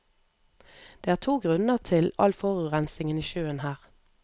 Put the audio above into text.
Det er to grunner til all forurensingen i sjøen her.